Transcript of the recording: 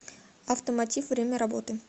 автомотив время работы